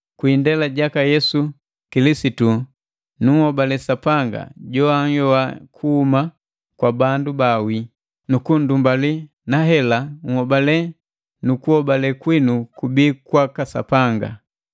Kwi indela jaka Yesu Kilisitu, munhobale Sapanga joanhyoa kuhuma kwa bandu baawii nu kundumbali, na hela nhobale nu kunhobale kwinu kubii kwaka Sapanga.